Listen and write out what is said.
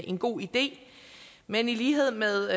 en god idé men i lighed med